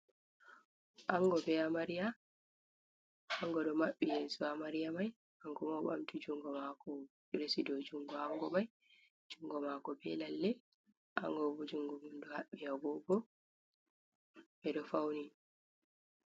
Anngo be amariya anngo ɗo maɓɓi yeeso amariya may, kanko bo o ɗo ɓamti junngo maako j resi haa dow junngo anngo may, junngo maako be lalle, anngo bo junngo mum ɗo haɓɓi agoogo ɓe ɗo fawni.